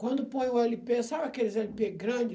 Quando põe o ele pê, sabe aqueles ele pê grande?